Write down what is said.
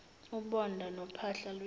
ubonda nophahla lwendlu